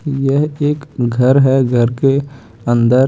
यह एक घर है घर के अंदर--